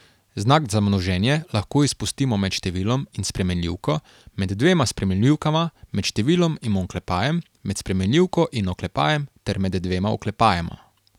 Znak za množenje lahko izpustimo med številom in spremenljivko, med dvema spremenljivkama, med številom in oklepajem, med spremenljivko in oklepajem ter med dvema oklepajema.